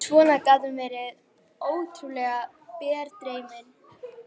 Svona gat hún verið ótrúlega berdreymin.